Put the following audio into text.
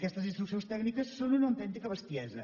aquestes instruccions tècniques són una autèntica bestiesa